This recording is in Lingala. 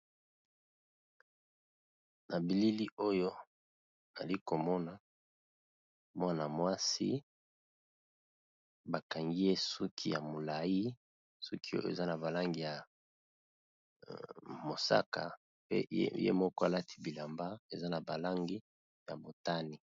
Na bilili oyo ali komona mwana-mwasi bakangi ye suki ya molayi suki oyo eza na ba langi ya mosaka pe ye moko alati bilamba eza na ba langi ya motane.